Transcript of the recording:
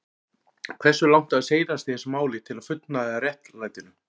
Hversu langt á seilast í þessu máli til að fullnægja réttlætinu?